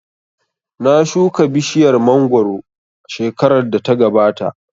Na shuka bishiyar mangoro shekarar da ta gabata